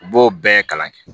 U b'o bɛɛ kalan kɛ